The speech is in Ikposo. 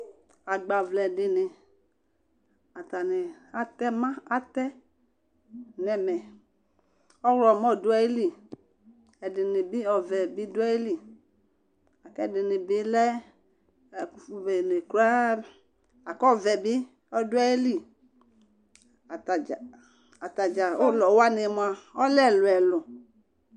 Agbavlɛ dini, atani atɛ ma, atɛ n'ɛmɛ, ɔwlɔmɔ dù ayili, ɛdini bi ɔvɛ bi dù ayili, k'ɛdini bi lɛ ɛkufu bene kurá, la ku ɔvɛ bi ɔdu ayili, atadza ulɔwani mua ɔlɛ ɛluɛlu